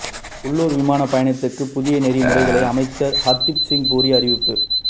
உள்ளூர் விமானப் பயணத்துக்கு புதிய நெறிமுறைகளை அமைச்சர் ஹர்தீப் சிங் பூரி அறிவிப்பு